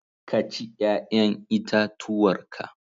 Ka ci 'ƴa'ƴan itatuwar ka!